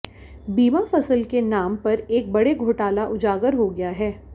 बीमा फ़सल के नाम पर एक बड़े घोटाला उजागर हो गया है